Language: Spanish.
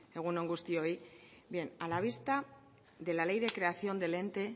egun on guztioi bien a la vista de la ley de creación del ente